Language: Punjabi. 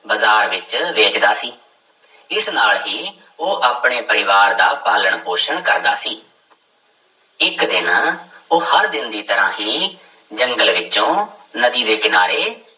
ਬਾਜ਼ਾਰ ਵਿੱਚ ਵੇਚਦਾ ਸੀ, ਇਸ ਨਾਲ ਹੀ ਉਹ ਆਪਣੇ ਪਰਿਵਾਰ ਦਾ ਪਾਲਣ ਪੋਸ਼ਣ ਕਰਦਾ ਸੀ ਇੱਕ ਦਿਨ ਉਹ ਹਰ ਦਿਨ ਦੀ ਤਰ੍ਹਾਂ ਹੀ ਜੰਗਲ ਵਿੱਚੋਂ ਨਦੀ ਦੇ ਕਿਨਾਰੇ